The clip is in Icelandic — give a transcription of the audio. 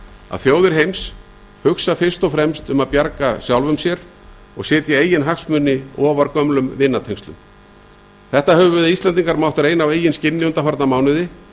að þjóðir heims hugsa fyrst og fremst um að bjarga sjálfum sér og setja eigin hagsmuni ofar gömlum vinatengslum það höfum við íslendingar mátt reyna á eigin skinni undanfarna mánuði